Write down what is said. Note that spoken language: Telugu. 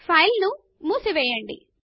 ఫైల్ ను మూసివేయండి